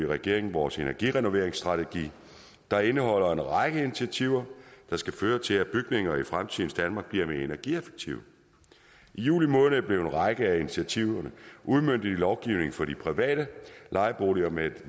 regeringen vores energirenoveringsstrategi der indeholder en række initiativer der skal føre til at bygninger i fremtidens danmark bliver mere energieffektive i juli måned blev en række af initiativerne udmøntet i lovgivning for de private lejeboliger med